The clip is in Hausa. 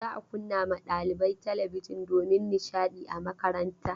Za a kunna ma ɗalibai talabijin domin nishaɗi a makaranta.